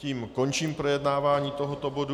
Tím končím projednávání tohoto bodu.